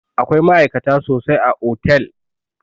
Akwai ma'aikata sosai a otel